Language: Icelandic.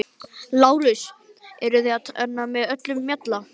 LÁRUS: Eruð þér með öllum mjalla?